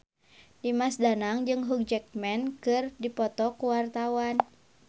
Dimas Danang jeung Hugh Jackman keur dipoto ku wartawan